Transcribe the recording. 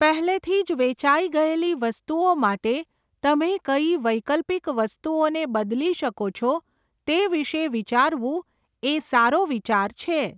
પહેલેથી જ વેચાઈ ગયેલી વસ્તુઓ માટે તમે કઈ વૈકલ્પિક વસ્તુઓને બદલી શકો છો તે વિશે વિચારવું એ સારો વિચાર છે.